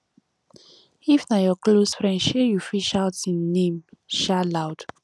if na your close friend um you fit shout im name um loud